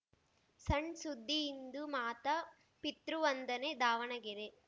ಸಣ್‌ ಸುದ್ದಿ ಇಂದು ಮಾತಾ ಪಿತೃ ವಂದನೆ ದಾವಣಗೆರೆ